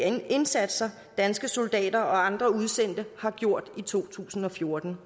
indsatser danske soldater og andre udsendte har gjort i to tusind og fjorten